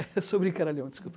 Eu sou brincaralhão, desculpa.